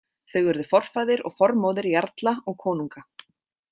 Þau urðu forfaðir og formóðir jarla og konunga.